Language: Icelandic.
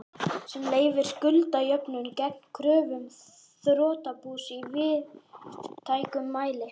sem leyfir skuldajöfnuð gegn kröfum þrotabús í víðtækum mæli.